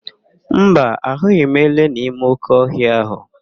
Mba, ahụghị m ele n'ime óké ọhịa ahụ.